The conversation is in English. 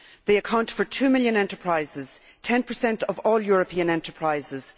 They account for two million enterprises, ten percent of all European enterprises